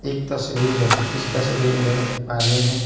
एक तस्वीर है इस तस्वीर में एक पानी है।